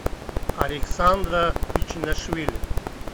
александра пичинашвили